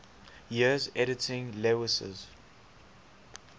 years editing lewes's